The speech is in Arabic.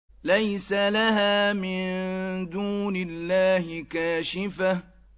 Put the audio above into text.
لَيْسَ لَهَا مِن دُونِ اللَّهِ كَاشِفَةٌ